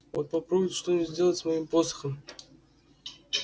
вот попробуйте что-нибудь сделать с моим посохом